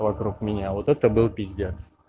вокруг меня вот это был пиздец